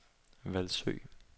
Hvalsø